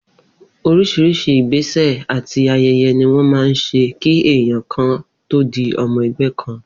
Orís̩rís̩i ìgbésè̩ àti aye̩ye̩ ni wó̩n máa ń s̩e kí èèyàn kan tó di o̩mo̩ e̩gbé̩ kan